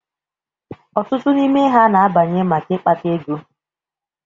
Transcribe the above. Ọtụtụ n'ime ha na-abanye maka ịkpata ego.